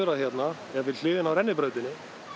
hérna er við hliðina á rennibrautinni